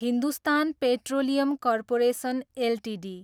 Hindustan petroleum corporation Ltd